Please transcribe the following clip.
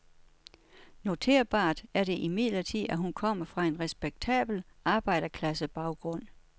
Noterbart er det imidlertid, at hun kommer fra en respektabel arbejderklassebaggrund.